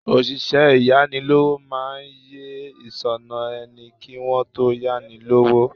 Òṣìṣẹ́ ìyánilówó máa yẹ ìṣúná ẹni kí wón tó yá ni lówó.